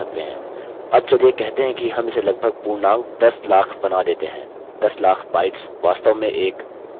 अब चलिए कहते हैं हम इसे लगभग पूर्णांक दस लाख बना देते हैं दस लाख bytes वास्तव में एक